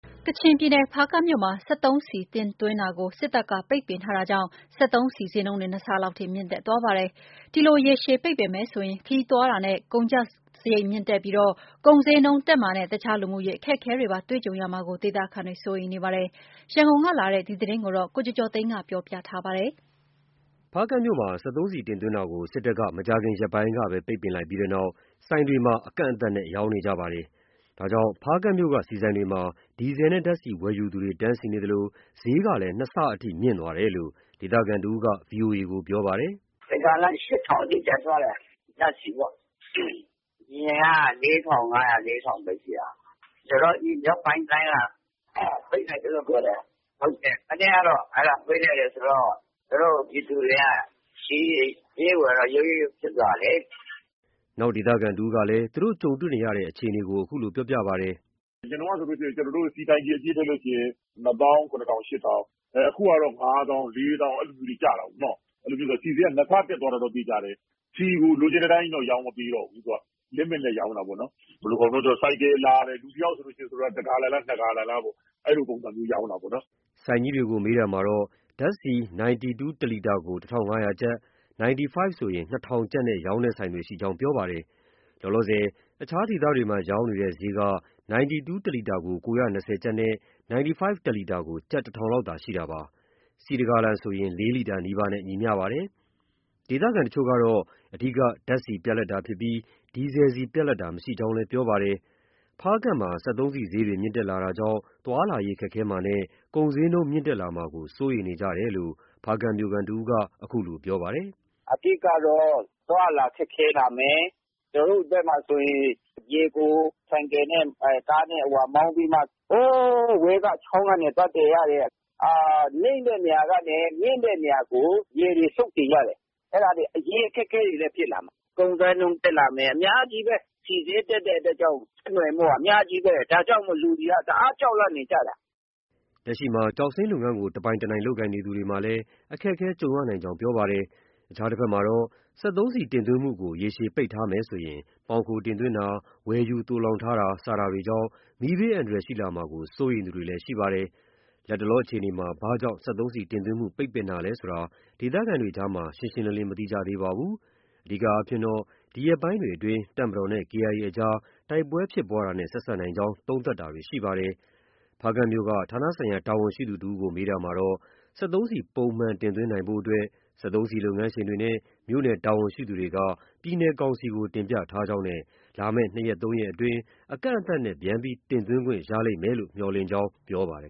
ကချင်ပြည်နယ် ဖားကန့်မြို့မှာ စက်သုံးဆီ တင်သွင်းတာကို စစ်တပ်က ပိတ်ပင်ထားတာကြောင့် စက်သုံးဆီ ဈေးနှုန်းတွေ ၂ ဆလောက်ထိ မြင့်တက်သွားပါတယ်။ ဒီလို ရေရှည်ပိတ်ပင်မယ်ဆိုရင် ခရီးသွားလာတာနဲ့ ကုန်သွယ်စရိတ်မြင့်တက်ပြီး ကုန်ဈေးနှုန်းတက်မှာနဲ့ တခြားလူမှုရေးအခက်အခဲတွေပါ တွေ့ကြုံရမှာကို ဒေသခံတွေက စိုးရိမ်နေကြပါတယ်။ ရန်ကုန်ကလာတဲ့ ဒီသတင်းကို ကိုကျော်ကျော်သိန်းက ပြောပြထားပါတယ်။ ဖားကန့်မြို့မှာ စက်သုံးဆီတင်သွင်းတာကို စစ်တပ်က မကြာခင်ရက်ပိုင်းကပဲ ပိတ်ပင်ခဲ့ပြီးနောက် ဆိုင်တွေမှာ အကန့်အသတ်နဲ့သာ ရောင်းချနေကြပါတယ်။ ဒါကြောင့် ဖားကန့်မြို့က ဆီဆိုင်တွေမှာ ဒီဇယ်နဲ့ဓါတ်ဆီဝယ်ယူသူတွေ တန်းစီနေသလို ဈေးကလည်း နှစ်ဆအထိ မြင့်တက်သွားတယ်လို့ ဒေသခံတစ်ဦးက VOA ကို ပြောပါတယ်။ “တစ်ဂါလံ ၈,၀၀၀ အထိ တက်သွားတယ်။ အရင်က ၄,၅၀၀။ ၄,၀၀၀ ပဲ ရှိတာ။ မြောက်ပိုင်းတိုင်းက ပိတ်လိုက်တယ်လို့ ပြောတယ်။ မနေ့ကတော့ အဲဒါပိတ်လိုက်တယ်ဆိုတော့ ပြည်သူတွေက ဈေးဝယ်တော့ ရုတ်ရုတ်ရုတ်ရုတ်ဖြစ်သွားတာလေ။” နောက်ဒေသခံတစ်ဦးကလည်း သူတို့ ကြုံတွေ့နေရတဲ့အခြေအနေကို အခုလို ပြောပါတယ်။ “အရင်တုံးက ဆိုရင် ကျနော်တု့ိ ဆီတိုင်ကီအပြည့်ထည့်လို့ရှိရင် ၂ သောင်း ၇ ထောင်၊ ၈ ထောင်။ အခုကတော့ ၅ သောင်း၊ ၄ သောင်း အဲလိုမျိုးတွေ ကျတာကိုနော်။ အဲတော့ ဆီဈေးက နှစ်ဆတက်သွားတာတော့ သေချာတယ်။ ဆီကို လိုချင်တဲ့အတိုင်းကြီးတော့ ရောင်းမပေးတော့ဘူး။ Limit နဲ့ ရောင်းတာပေါ့နော်။ ဆိုလိုတာက ဆိုင်ကယ်လာတယ်။ လူတစ်ယောက်ဆိုရင် တစ်ဂါလံလား၊ နှစ်ဂါလံလား အဲလိုပုံစံမျိုးရောင်းတာပေါ့နော်။” ဆိုင်ကြီးတွေကို မေးမြန်းရာမှာ ဓါတ်ဆီ 92 တစ်လီတာကို ၁,၅၀၀ ကျပ်၊ 95 ဆိုရင် ၂,၀၀၀ ကျပ်နဲ့ရောင်းတဲ့ဆိုင်တွေရှိကြောင်း ပြောပါတယ်။ လောလောဆယ် အခြားဒေသတွေမှာ ရောင်းနေတဲ့ ဈေးက 92 တစ်လီတာကို ၉၂၀ ကျပ်နဲ့ 95 တစ်လီတာကို ကျပ် ၁,၀၀၀ လောက်သာရှိတာဖြစ်ပါတယ်။ ဆီ ၁ ဂါလံဆိုရင် ၄ လီတာနီးပါးနဲ့ ညီမ ျှပါတယ်။ ဒေသခံတချို့ကတော့ အဓိက ဓါတ်ဆီပြတ်လပ်တာဖြစ်ပြီး ဒီဇယ်ဆီပြတ်လပ်တာမရှိကြောင်းလည်း ပြောပါတယ်။ ဖားကန့်မှာ စက်သုံးဆီဈေးတွေ မြင့်တက်လာတာကြောင့် သွားလာရေးခက်ခဲမှာနဲ့ ကုန်ဈေးနှုန်းတွေမြင့်တက်လာမှာကို စိုးရိမ်နေကြတယ်လို့ ဖားကန့်မြို့ခံတစ်ဦးက အခုလိုပြောပါတယ်။ “အဓိကတော့ အသွားအလာ ခက်ခဲလာမယ်။ ကျနော်တို့ဘက်မှာ ဆိုရင် ရေကို ဆိုင်ကယ်နဲ့ ကားနဲ့ မောင်းပြီးမှ ဟိုးအဝေးက ချောင်းကနေ သွားသယ်ရတယ်။ နိမ့်တဲ့နေရာကနေ မြင့်တဲ့နေရာကို ရေတွေ စုတ်တင်ရတယ်။ အဲဒါတွေ ရေအခက်အခဲတွေလည်း ဖြစ်လာမှာ။ ကုန်ဈေးနှုန်းတက်လာမယ် အများကြီးပဲ။ ဆီဈေးတက်တဲ့အတွက်ကြောင့် ဆက်နွယ်မှုက အများကြီးပဲ ဒါကြောင့် လူတွေက တအားကြောက်လန့်နေကြတာ။” လက်ရှိ ကျောက်စိမ်းလုပ်ငန်းးကို တပိုင်တနိုင် လုပ်ကိုင်နေသူတွေမှာလည်း အခက်အခဲတွေ ကြုံရနိုင်ကြောင်း ပြောပါတယ်။ အခြားတဘက်မှာတော့ စက်သုံးဆီတင်သွင်းမှုကို ရေရှည်ပိတ်ပင်ထားမယ်ဆိုရင် မှောင်ခိုတင်သွင်းတာ၊ ဝယ်ယူသိုလှောင်ထားတာ စတာတွေကြောင့် မီးဘေးအန္တရာယ်ရှိလာမှာကို စိုးရိမ်သူတွေလည်း ရှိပါတယ်။ လတ်တလောအခြေအနေမှာ ဘာကြောင့် စက်သုံးဆီတင်သွင်းမှု ပိတ်ပင်တာလည်းဆိုတာကို ဒေသခံတွေကြားမှာ ရှင်းရှင်းလင်းလင်း မသိကြသေးပါဘူး။ အဓိကကတော့ ဒီရက်ပိုင်းတွေအတွင်း တပ်မတော်နဲ့ KIA အကြား တိုက်ပဲွဲဖြစ်ပွားတာနဲ့ ဆက်စပ်နိုင်ကြောင်း သုံးသပ်တာတွေ ရှိနေပါတယ်။ ဖားကန့်မြို့က ဌာနဆိုင်ရာ တာဝန်ရှိသူတစ်ဦးကို မေးမြန်းရာမှာတော့ စက်သုံးဆီ ပုံမှန်တင်သွင်းနိုင်ရေးအတွက် စက်သုံးဆီလုပ်ငန်းရှင်တွေနဲ့ မြို့နယ်တာဝန်ရှိသူတွေက ပြည်နယ်ကောင်စီကို တင်ပြထားကြောင်းနဲ့ လာမယ့် ၂ ရက်၊ ၃ ရက်အတွင်းမှာ အကန့်အသတ်နဲ့ ပြန်လည်တင်သွင်းခွင့်ရလိမ့်မယ်လို့ မျှော်လင့်ကြောင်း ပြောပါတယ်